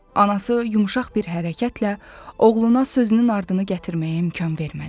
Anası yumşaq bir hərəkətlə oğluna sözünün ardını gətirməyə imkan vermədi.